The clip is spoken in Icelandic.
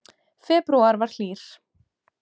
Febrúar var hlýr